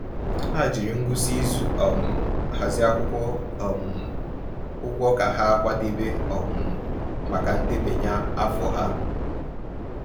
Ha jiri ngwụsị izu um hazie akwụkwọ um ụgwọ ka ha kwadebe um maka ndebanye afọ ha.